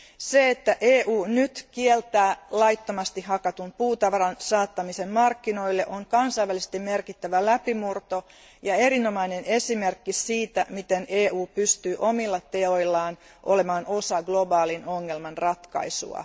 Se, että EU nyt kieltää laittomasti hakatun puutavaran saattamisen markkinoille, on kansainvälisesti merkittävä läpimurto ja erinomainen esimerkki siitä, miten EU pystyy omilla teoillaan olemaan osa globaalin ongelman ratkaisua.